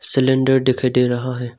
Cylinder दिखाई दे रहा है।